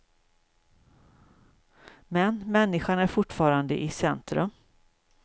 Men människan är fortfarande i centrum.